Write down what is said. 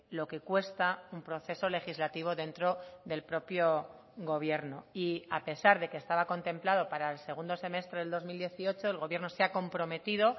lo que cuesta un proceso legislativo dentro del propio gobierno y a pesar de que estaba contemplado para el segundo semestre del dos mil dieciocho el gobierno se ha comprometido